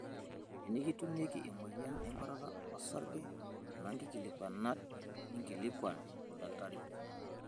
Tenikitumieki emoyian enkuatatat osarge, kuna nkikilikuanat ninkilikuan olkitari.